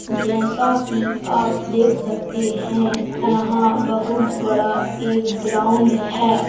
जैसा कि आप देख सकते हैं यहां बहुत बड़ा एक ग्राउंड है।